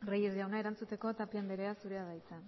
reyes jauna erantzuteko tapia andrea zurea da hitza